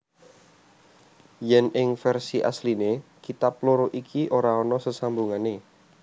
Yen ing versi asliné kitab loro iki ora ana sesambungané